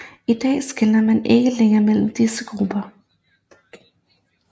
I dag skelner man ikke længere mellem disse grupper